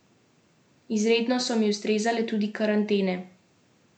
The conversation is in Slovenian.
Izredno so mi ustrezale tudi karantene.